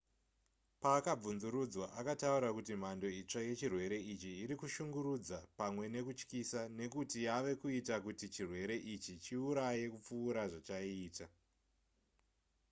paakabvunzurudzwa akataura kuti mhando itsva yechirwere ichi iri kushungurudza pamwe nekutyisa nekuti yava kuita kuti chirwere ichi chiuraye kupfuura zvachaiita